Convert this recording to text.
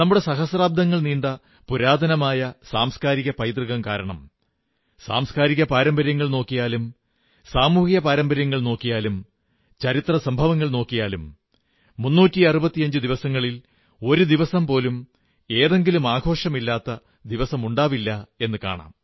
സഹസ്രാബ്ദങ്ങൾ പഴക്കമുള്ള നമ്മുടെ സാംസ്കാരിക പൈതൃകം കാരണം സാംസ്കാരിക പാരമ്പര്യങ്ങൾ നോക്കിയാലും സാമൂഹിക പാരമ്പര്യങ്ങൾ നോക്കിയാലും ചരിത്ര സംഭവങ്ങൾ നോക്കിയാലും 365 ദിവസങ്ങളിൽ ഒരു ദിവസം പോലും ഏതെങ്കിലും ആഘോഷമില്ലാത്ത ദിവസമുണ്ടാവില്ല എന്നു കാണാം